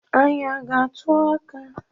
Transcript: Anyi a ga-atụ aka?